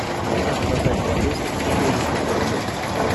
продать валюту четыреста тенге